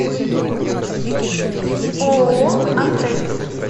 ооо антей